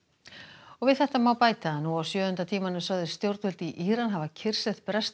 og við þetta má bæta að nú á sjöunda tímanum sögðust stjórnvöld í Íran hafa kyrrsett breskt